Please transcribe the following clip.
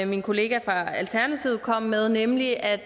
min kollega fra alternativet kom med nemlig at